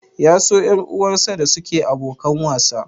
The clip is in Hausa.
Ya so ƴar uwarsa da suke abokan wasa?